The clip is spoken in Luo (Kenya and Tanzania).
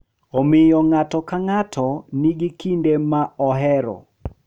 Omiyo, ng’ato ka ng’ato nigi kido ma ohero .